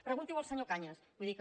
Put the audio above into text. pregunti·ho al senyor cañas vull dir que